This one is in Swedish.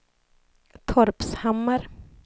Torpshammar